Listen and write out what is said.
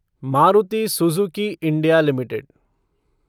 Maruti Suzuki India limited